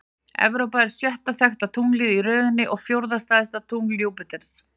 Evrópa er sjötta þekkta tunglið í röðinni og fjórða stærsta tungl Júpíters.